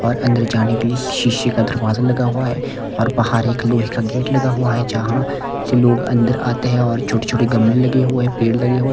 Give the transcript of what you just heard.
और अंदर जाने के लिए शीशे का दरवाजा लगा हुआ है और बाहर एक लोहे का गेट लगा हुआ है जहाँ से लोग अंदर आते हैं और छोटे-छोटे गमले लगे हुए पेड़ लगे हुए --